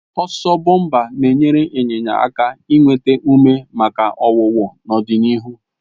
Ọsọ bọmpa na-enyere ịnyịnya aka inweta ume maka ọwụwụ n'ọdịnihu,